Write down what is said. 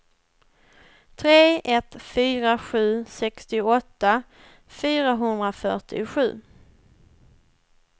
tre ett fyra sju sextioåtta fyrahundrafyrtiosju